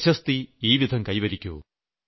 പ്രശസ്തി ഈ വിധം കൈവരിക്കൂ